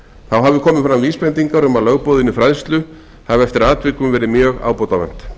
þá hafi komið fram vísbendingar um að lögboðinni fræðslu hafi eftir atvikum verið mjög ábótavant